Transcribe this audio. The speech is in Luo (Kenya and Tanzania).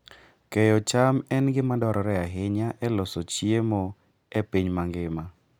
Keyo cham en gima dwarore ahinya e loso chiemo e piny mangima.